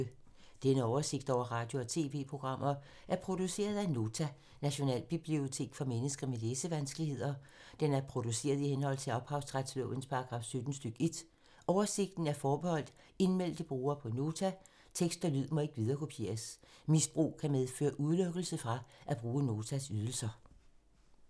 Denne oversigt over radio og TV-programmer er produceret af Nota, Nationalbibliotek for mennesker med læsevanskeligheder. Den er produceret i henhold til ophavsretslovens paragraf 17 stk. 1. Oversigten er forbeholdt indmeldte brugere på Nota. Tekst og lyd må ikke viderekopieres. Misbrug kan medføre udelukkelse fra at bruge Notas ydelser.